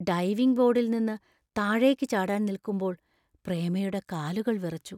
Diving ബോർഡിൽ നിന്ന് താഴേക്ക് ചാടാൻ നിൽക്കുമ്പോൾ പ്രേമയുടെ കാലുകൾ വിറച്ചു.